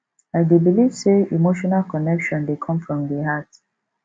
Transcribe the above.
i dey believe say emotional connection dey come from di heart